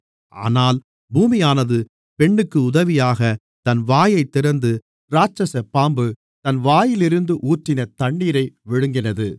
ஆனால் பூமியானது பெண்ணுக்கு உதவியாகத் தன் வாயைத் திறந்து இராட்சசப் பாம்பு தன் வாயிலிருந்து ஊற்றின தண்ணீரை விழுங்கினது